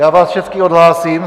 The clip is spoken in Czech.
Já vás všechny odhlásím.